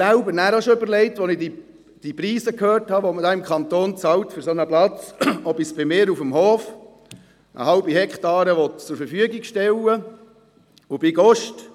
Als ich von den Preisen hörte, die man im Kanton für einen solchen Platz zahlt, habe ich mir auch schon überlegt, ob ich bei mir auf dem Hof eine halbe Hektare zur Verfügung stellen sollte.